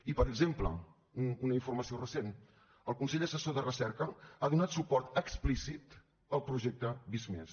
i per exemple una informació recent el consell assessor de recerca ha donat suport explícit al projecte visc+